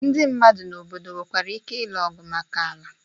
Ndị mmadu na obodo nwekwara ike ịlụ ọgụ maka ala.